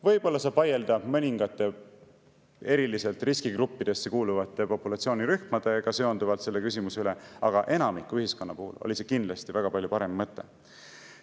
Võib-olla saab vaielda mõningate riskigruppidesse kuuluvate populatsioonirühmadega seonduvalt selle küsimuse üle, aga enamiku ühiskonna puhul oli see kindlasti väga palju parem mõte.